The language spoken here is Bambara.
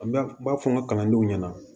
An bɛ n b'a fɔ n ka kalandenw ɲɛna